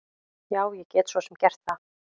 Já, ég get svo sem gert það.